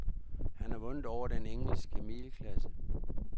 Han har vundet over den engelske middelklasse.